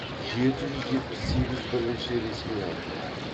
жеті жүз жетпіс сегіз бірінші ресми айтылған